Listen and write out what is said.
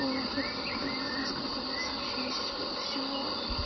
ой я так никогда не знаю сколько у меня сообщения здесь было всего